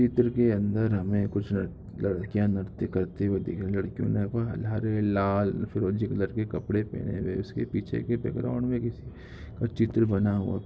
चित्र के अंदर हमें कुछ लड़-लड़कियां नृत्य करती हुई दिख रही है लड़कियों ने बा हरे लाल फिरोजी कलर के कपड़े पहने हुए इसके पीछे के बैकग्राउंड में किसी का चित्र बना हुआ--